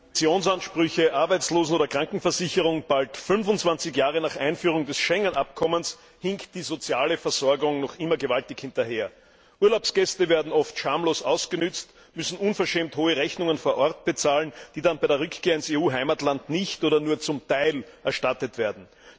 Herr Präsident! Pensionsansprüche, Arbeitslosen oder Krankenversicherung bald 25 Jahre nach Einführung des Schengen Abkommens hinkt die soziale Versorgung noch immer gewaltig hinterher. Urlaubsgäste werden oft schamlos ausgenutzt, müssen unverschämt hohe Rechnungen vor Ort bezahlen, die dann bei Rückkehr ins EU Heimatland nicht oder nur zum Teil erstattet werden.